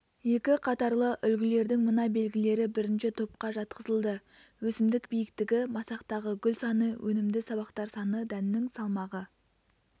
екі қатарлы үлгілердің мына белгілері бірінші топқа жатқызылды өсімдік биіктігі масақтағы гүл саны өнімді сабақтар саны дәннің салмағы